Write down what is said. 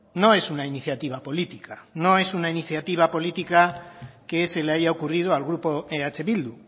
no es una iniciativa política no es una iniciativa política que se le haya ocurrido al grupo eh bildu